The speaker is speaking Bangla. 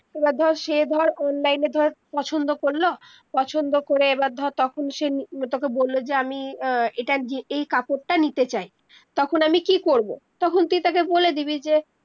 এইবার ধর সে ধর online এ ধর পছন্দ করলো পছন্দ করে এবার ধর তখন সে তকে বললো যে আমি আহ এটা এই কাপড়টা নিতে চাই তখন আমি কি করব তখন তুই তাকে বলে দিবি যে